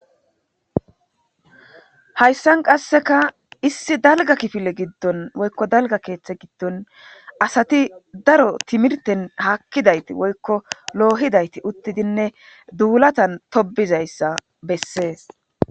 hayssan qasseka issi dalga kifile giddon woykko dalga keeththa giddon asati daro timirten haakkidayti woykko loohidayti uttidinne duulatan tobizayssa bessees